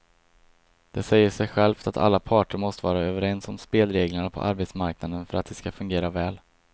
Det säger sig självt att alla parter måste vara överens om spelreglerna på arbetsmarknaden för att de ska fungera väl.